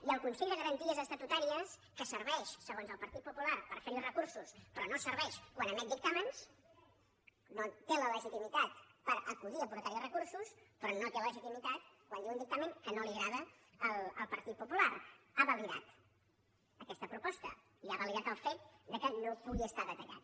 i el consell de garanties estatutàries que serveix segons el partit popular per fer hi recursos però no serveix quan emet dictàmens no té legitimitat per acudir hi a portar hi recursos però no té legitimitat quan diu un dictamen que no agrada al partit popular ha validat aquesta proposta i ha validat el fet que no pugui estar detallat